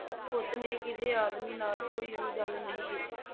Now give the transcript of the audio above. ਉਸਨੇ ਕਿਸੇ ਆਦਮੀ ਨਾਲ ਕੋਈ ਵੀ ਗਲ ਨਹੀਂ ਕੀਤੀ।